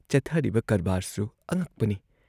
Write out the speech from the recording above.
ꯆꯠꯊꯔꯤꯕ ꯀꯔꯕꯥꯔꯁꯨ ꯑꯉꯛꯄꯅꯤ ꯫